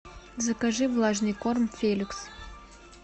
закажи влажный корм феликс